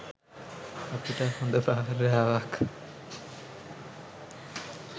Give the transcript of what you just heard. අපිට හොඳ භාර්යාවක්